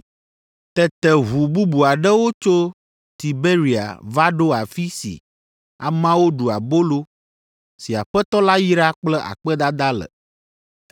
Tete ʋu bubu aɖewo tso Tiberia va ɖo afi si ameawo ɖu abolo si Aƒetɔ la yra kple akpedada le.